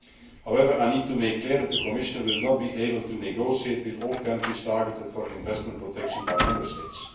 However, I need to make clear that the Commission will not be able to negotiate with all countries targeted for investment protection by Member States.